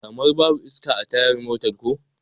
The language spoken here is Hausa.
Kamar babu iska a tayar motar ko?